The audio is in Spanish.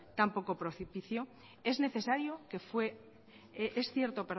tan poco profecticio es cierto